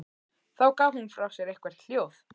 Þá gaf hún frá sér eitthvert hljóð.